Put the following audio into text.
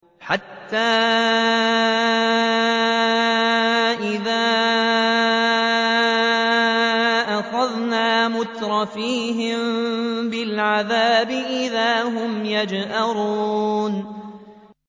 حَتَّىٰ إِذَا أَخَذْنَا مُتْرَفِيهِم بِالْعَذَابِ إِذَا هُمْ يَجْأَرُونَ